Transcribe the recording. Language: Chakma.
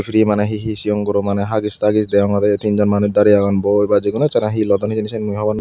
ri mane hee hee sigon guro hagis tagis degongor teen jon manuj darey agon boi ba jekuno eksara hee lodon hijeni siyen mui hobo.